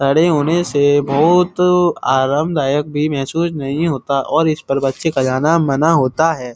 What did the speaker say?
खड़े होने से बहुत आरामदायक भी महसूस नहीं होता और इस पर बच्चे का जाना माना होता है।